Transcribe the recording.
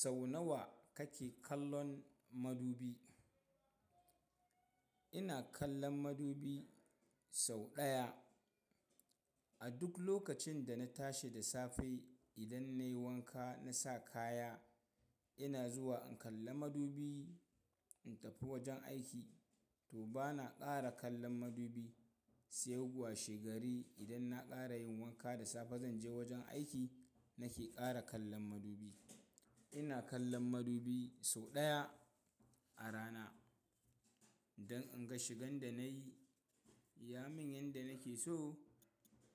Sau nawa kake kallon madubi? Ina kallon madubi sau ɗaya. A duk lokacin da na tashi da safe idan nayi wanka na sa kaya, ina zuwa in kalla madubi in tafi wajen aiki. To bana ƙara kallon madubi sai gwa shi gari idan na ƙara yin wanka da safe zan je wajen aiki nake ƙara kallon madubi. Ina kallon madubi sau ɗaya a rana don in ga shigan da nayi ya min yadda nake so